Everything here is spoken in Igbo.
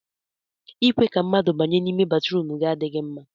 ịkwe ka mmadụ banye n'ime batrum gị adịghị mma